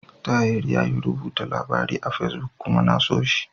Tahir yayi rubuta labari a Fesbuk kuma na so shi.